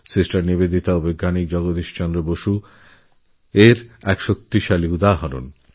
sister Nivedita এবং আচার্য জগদীশ চন্দ্র বসু এই ভাবনার সুন্দরউদাহরণ